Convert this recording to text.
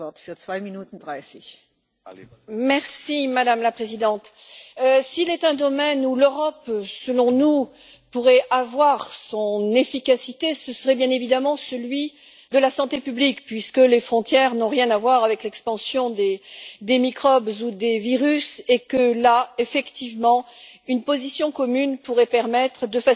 Madame la Présidente, s'il est un domaine où l'Europe, selon nous, pourrait avoir son efficacité, ce serait bien évidemment celui de la santé publique, puisque les frontières n'ont rien à voir avec l'expansion des microbes ou des virus et que, là, effectivement, une position commune pourrait permettre de faciliter les choses sur le plan de la santé publique pour chaque État.